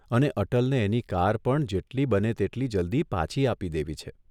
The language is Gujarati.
અને અટલને એની કાર પણ જેટલી બને તેટલી જલ્દી પાછી આપી દેવી છે.